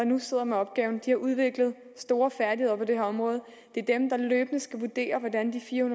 nu sidder med opgaven de har udviklet store færdigheder på det her område det er dem der løbende skal vurdere hvordan de fire